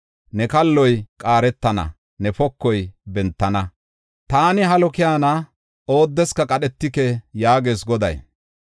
Ne kalloy qaaretana; ne pokoy bentana. Taani halo keyana; oodeska qadhetike” yaagees Goday.